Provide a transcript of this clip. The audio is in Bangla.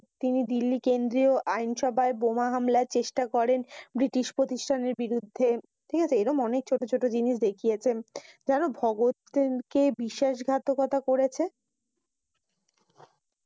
তিনি দিল্লি কেন্দ্রিয় আইন সভায় বোমা হালমায় চেষ্টা করেন ব্রিটিশ প্রতিষ্ঠানের বিরুদ্ধে। ঠিক আছে। এই রকম ছোট ছোট জিনিস দেখিয়েছে। যান ভগৎ সিং কি বিশ্বাস ঘাতকতা করেছে?